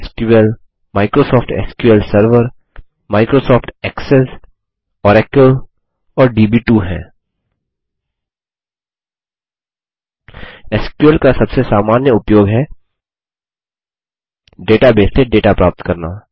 SQL का सबसे सामान्य उपयोग है डेटाबेस से डेटा प्राप्त करना